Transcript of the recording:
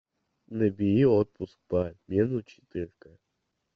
набери отпуск по обмену четырка